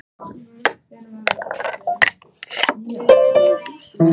Öll bjóða þau hlaupurum upp á rjúkandi pönnukökur.